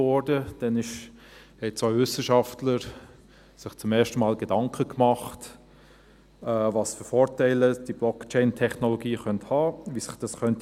Damals machten sich zwei Wissenschaftler zum ersten Mal Gedanken, welche Vorteile die Blockchain-Technologie haben könnte, wie sich diese entwickeln könnte.